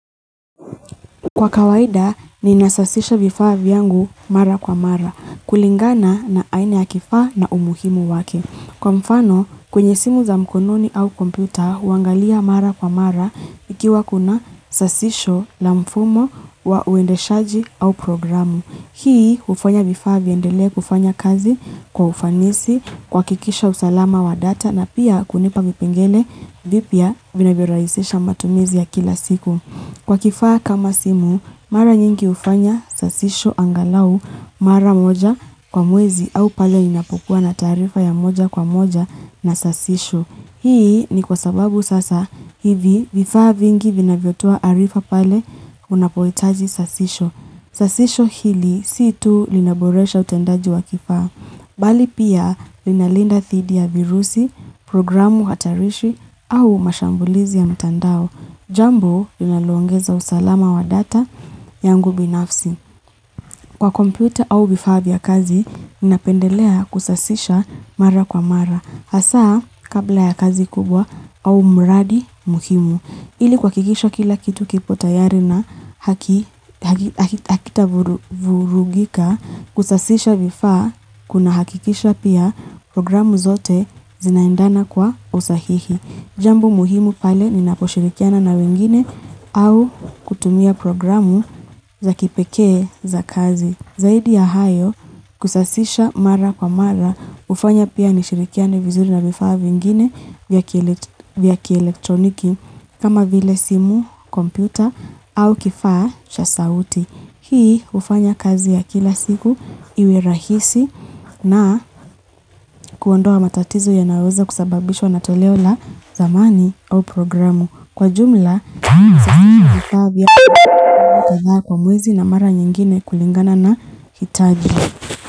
Kwa kawaida nina sasisha vifaa yangu mara kwa mara kulingana na aina ya kifaa na umuhimu wake kwa mfano kwenye simu za mkononi au kompyuta huangalia mara kwa mara ikiwa kuna sasisho la mfumo wa uendeshaji au programu hii ufanya vifaa viendele kufanya kazi kwa ufanisi kwakikisha usalama wa data na pia kunipa vipengele vipya vinavyoraisisha matumizi ya kila siku kwa kifaa kama simu mara nyingi ufanya sasisho angalau mara moja kwa mwezi au pale inapukua na tarifa ya moja kwa moja na sasisho hii ni kwasababu sasa hivi vifaa vingi vinavyotoa arifa pale unapoitaji sasisho sasisho hili sii tu linaboresha utendaji wa kifaa bali pia linalinda thidi ya virusi programu hatarishi au mashambulizi ya mtandao jambo linaloongeza usalama wa data yangu binafsi kwa komputa au bifabia kazi ninapendelea kusasisha mara kwa mara hasa kabla ya kazi kubwa au mradi mukimu Ili kwakikisha kila kitu kipo tayari na hakita vurugika kusasisha vifaa kuna hakikisha pia programu zote zinaindana kwa usahihi jambo muhimu pale ni naposhirikiana na wengine au kutumia programu za kipekee za kazi zaidi ya hayo kusasisha mara kwa mara ufanya pia nishirikiane vizuri na vifaa vingine vya kielektroniki kama vile simu kompyuta au kifaa chasauti hii ufanya kazi ya kila siku iwerahisi na kuondoa matatizo ya naweza kusababishwa na toleo la zamani au programu kwa jumla nasashisha mara kadhaa kwa mwezi na mara nyingine kulingana na hitaji.